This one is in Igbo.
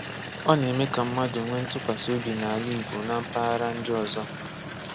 Ọ na-eme ka mmadụ nwee ntụkwasi obi n’ala Igbo na mpaghara ndị ọzọ.